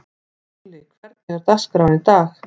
Júlli, hvernig er dagskráin í dag?